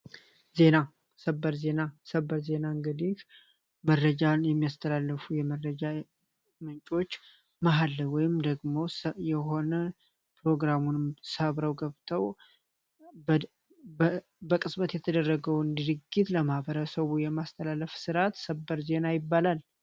ዜና ሰበር ዜና ሰበር ዜና መረጃን የሚያስተላልፉ የመረጃ ምንጮች መሃል ላይ ወይም ደግሞ የሆነ ፕሮግራሙን ሰብረው ገብተው በቅጽበት የተደረገውን ድርጅት ለማበረሰቡ የማስተላለፍ ስርዓት ሰበር ዜና ይባላል።